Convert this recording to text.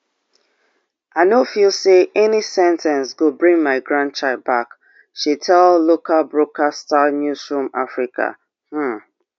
i no feel say any sen ten ce go bring my grandchild back she tell local broadcaster news room afrika um